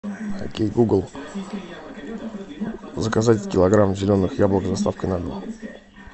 окей гугл заказать килограмм зеленых яблок с доставкой на дом